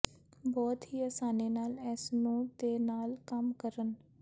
ਬਹੁਤ ਹੀ ਆਸਾਨੀ ਨਾਲ ਇਸ ਨੂੰ ਦੇ ਨਾਲ ਕੰਮ ਕਰਨ